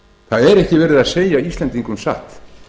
það er ekki verið að segja íslendingum satt